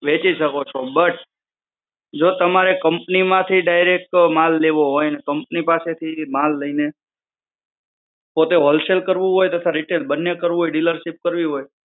વહેંચી શકો છો. બટ, જો તમારે company માંથી માલ લેવો હોય અને કંપની પાસે થી એ માલ લઈને પોતે wholesale કરવું હોય તથા retail બંને કરવું હોય dealership કરવી હોય,